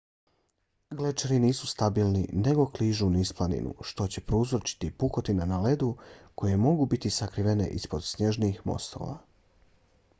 glečeri nisu stabilni nego kližu niz planinu što će prouzročiti pukotine na ledu koje mogu biti sakrivene ispod snježnih mostova